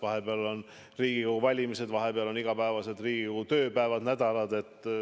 Vahepeal on Riigikogu valimised, igapäevased Riigikogu tööpäevad, -nädalad.